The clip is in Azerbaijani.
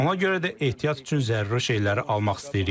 Ona görə də ehtiyat üçün zəruri şeyləri almaq istəyirik.